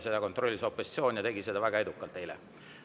Seda kontrollis opositsioon, kes tegi seda väga edukalt eile.